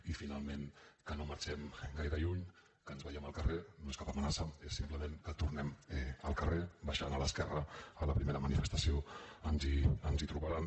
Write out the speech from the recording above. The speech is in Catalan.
i finalment que no marxem gaire lluny que ens veiem al carrer no és cap amenaça és simplement que tornem al carrer baixant a l’esquerra a la primera manifestació ens hi trobaran